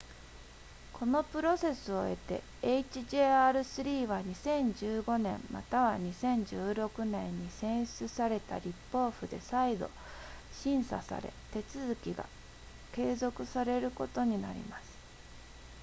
このプロセスを経て hjr-3 は2015年または2016年に選出された立法府で再度審査され手続きが継続されることになります